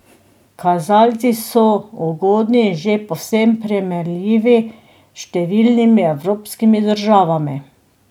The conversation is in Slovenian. Kazalci so ugodni in že povsem primerljivi s številnimi evropskimi državami.